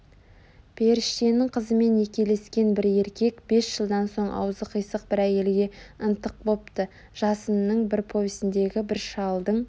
періштенің қызымен некелескен бір еркек бес жылдан соң аузы қисық бір әйелге ынтық бопты жасынның бір повесіндегі бір шалдың